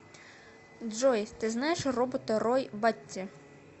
джой ты знаешь робота рой батти